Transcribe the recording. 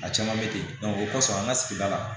A caman bɛ ten o kɔsɔn an ka sigida la